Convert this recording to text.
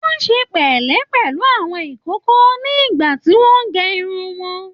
Wọn ṣe pẹlẹ pẹlú àwọn ìkókó náà nígbà tí wọn n gé irun wọn